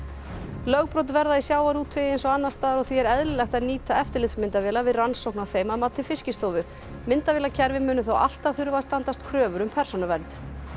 lögbrot verða í sjávarútvegi eins og annars staðar og því er eðlilegt að nýta eftirlitsmyndavélar við rannsókn á þeim að mati Fiskistofu myndavélakerfi muni þó alltaf þurfa að standast kröfur um persónuvernd